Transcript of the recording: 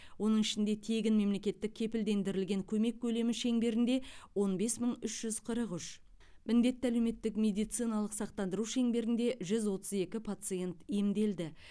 оның ішінде тегін мемлекеттік кепілдендірілген көмек көлемі шеңберінде он бес мың үш жүз қырық үш міндетті әлеуметтік медициналық сақтандыру шеңберінде жүз отыз екі пациент емделді